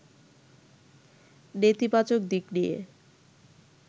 নেতিবাচক দিক নিয়ে